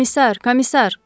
Komissar, komissar!